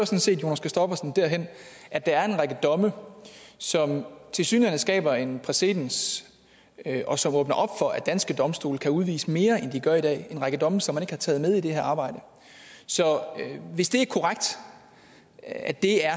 set jonas christoffersen derhen at der er en række domme som tilsyneladende skaber en præcedens og som åbner op for at danske domstole kan udvise mere end de gør i dag en række domme som man ikke har taget med i det her arbejde så hvis det er korrekt at det er